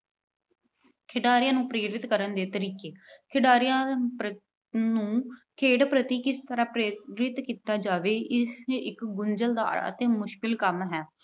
ਖਿਡਾਰੀਆਂ ਨੂੰ ਪ੍ਰੇਰਿਤ ਕਰਨ ਦੇ ਤਰੀਕੇ। ਖਿਡਾਰੀਆਂ ਨੂੰ ਖੇਡ ਪ੍ਰਤੀ ਕਿਸ ਤਰ੍ਹਾਂ ਪ੍ਰੇਰਨਾ ਕੀਤਾ ਜਾਵੇ, ਇਹ ਇਕ ਗੁੰਝਲਦਾਰ ਤੇ ਮੁਸ਼ਕਲ ਕੰਮ ਹੈ।